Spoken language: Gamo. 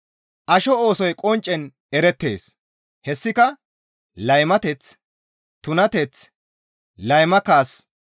Asho oosoy qonccen erettees; hessika laymateth, tunateth, layma kaas,